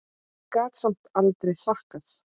Ég gat samt aldrei þakkað